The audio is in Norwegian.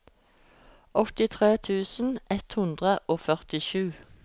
åttitre tusen ett hundre og førtisju